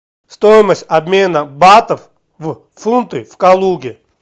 стоимость обмена батов в фунты в калуге